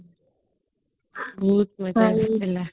ବହୁତ ମଜା ଆସିଥିଲା